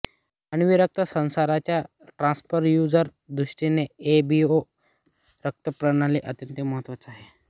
मानवी रक्त संचरणाच्या ट्रान्स्फ्यूजन दृष्टीने एबीओ रक्तप्रणाली अत्यंत महत्त्वाची आहे